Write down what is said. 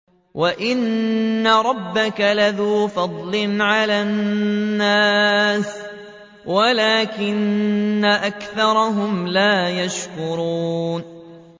وَإِنَّ رَبَّكَ لَذُو فَضْلٍ عَلَى النَّاسِ وَلَٰكِنَّ أَكْثَرَهُمْ لَا يَشْكُرُونَ